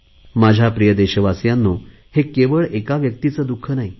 माझ्या प्रिय देशवासियांनो हे केवळ एका व्यक्तीचे दुख नाही